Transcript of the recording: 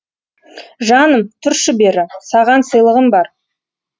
жаным тұршы бері саған сыйлығым бар